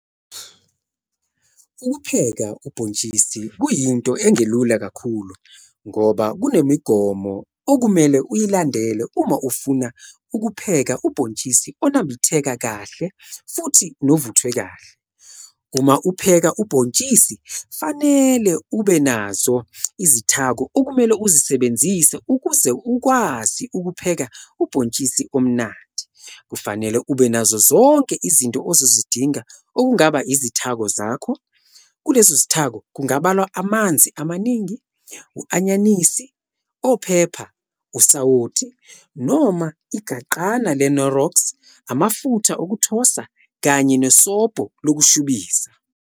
ukupheka ubhotshisi kuyinto engelula kakhulu ngoba kunemigomo okumele uyilandele Uma ufuna ukupheka ubhotshisi onambitheka Kahle futhi novuthwe Kahle. Uma upheka ubhotshisi kufanele ube nazo zonke izithako okumele uzisebenzise ukuze ukwazi ukupheka ubhotshisi omnandi, kufanele ube nazo zonke izinto ozozidinga okungaba izithako zakho, kulezo zithako kungabalwa amanzi amaningi, u-anyanisi, ophepha, usawoti noma igaqana le knorox amafutha okuthosa Kanye nesobho lokushubisa